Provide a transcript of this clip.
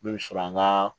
Min bɛ sɔrɔ an ka